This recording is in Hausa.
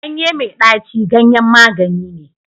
ganye mai daci ganyen magani ne